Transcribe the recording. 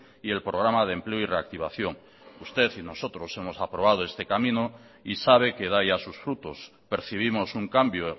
y el programa de empleo y reactivación usted y nosotros hemos aprobado este camino y sabe que da ya sus frutos percibimos un cambio